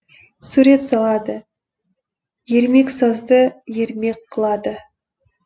сурет салады ермексазды ермек қылады